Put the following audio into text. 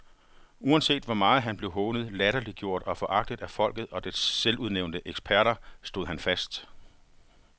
Uanset hvor meget han blev hånet, latterliggjort og foragtet af folket og dets selvudnævnte eksperter, stod han fast.